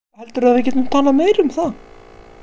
Heldurðu að við getum talað meira um það?